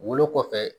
Wolo kɔfɛ